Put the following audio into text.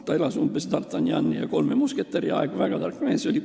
Ta elas umbes d'Artagnani ja kolme musketäri aegadel, väga tark mees oli.